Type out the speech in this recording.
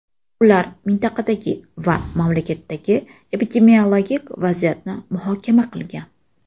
Ular mintaqadagi va mamlakatdagi epidemiologik vaziyatni muhokama qilgan.